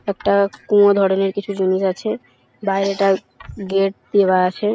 একটা কুয়ো ধরণের কিছু জিনিস আছে বাইরেটায় গেট দেওয়া আছে ।